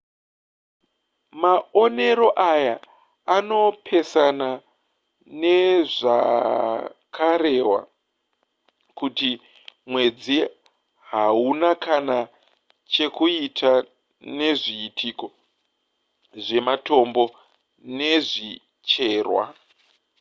maonero aya anopesana nezvakarehwa kuti mwedzi hauna kana chekuita nezviitiko zvematombo nezvicherwa